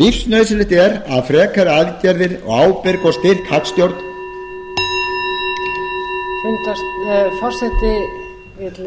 lífsnauðsynlegt er að frekari aðgerðir og ábyrg og styrk hagstjórn forseti vill